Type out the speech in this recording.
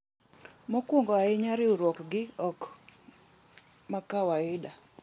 Mokwongo ahinya riuruok gi ok makawaida.